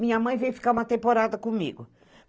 Minha mãe veio ficar uma temporada comigo.